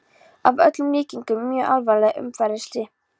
Að öllum líkindum í mjög alvarlegu umferðarslysi!